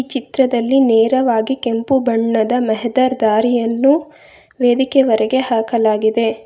ಚಿತ್ರದಲ್ಲಿ ನೇರವಾಗಿ ಕೆಂಪು ಬಣ್ಣದ ಮೆಹದರ್ ದಾರಿಯನ್ನು ವೇದಿಕೆ ವರೆಗೆ ಹಾಕಲಾಗಿದೆ.